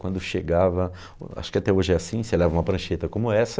Quando chegava, acho que até hoje é assim, você leva uma prancheta como essa...